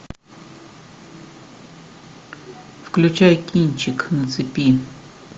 включай кинчик на цепи